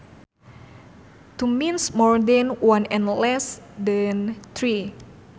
Two means more than one and less than three